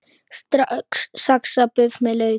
Saxað buff með lauk